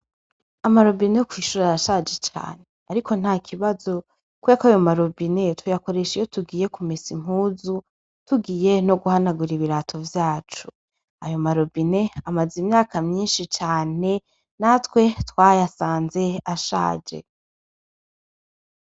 Amarobine kw'ishura ashaje cane, ariko nta ikibazo koyako ayo marobine tuyakoresha iyo tugiye kumisa impuzu tugiye no guhanagura ibirato vyacu ayo marobine amaze imyaka myinshi cane natwe twayasanze ashaje.